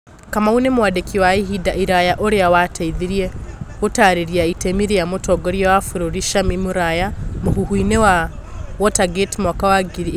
Kamau nĩ mwandĩki wa ihinda iraya ũrĩa wateithirie gũtaarĩria itemi rĩa mũtongoria wa bururi Camii Mũraya mũhuhu-inĩ wa Watergate mwaka wa ngiri ĩmwe magana kenda mĩrongo mũgwanja.